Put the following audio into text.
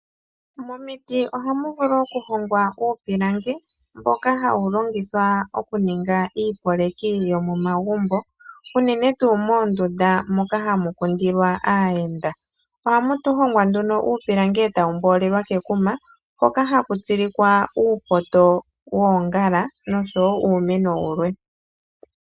Momiti ohamu vulu oku hongwa uupilangi mboka ha wu longithwa oku ninga uusikopa wo momagumbu, uunene tuu moondunda moka ha mu kundilwa aayenda. Oha mu hongwa nduno uupilangi eta wu mboolelwa kekuma hoka ha ku tsilikwa uupoto woongala nosho woo uumeno wulwe.